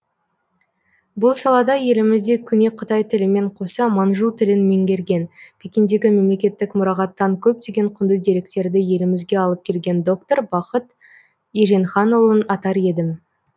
бұл салада елімізде көне қытай тілімен қоса манжу тілін меңгерген пекиндегі мемлекеттік мұрағаттан көптеген құнды деректерді елімізге алып келген доктор бақыт еженханұлын атар едім